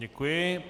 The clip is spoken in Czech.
Děkuji.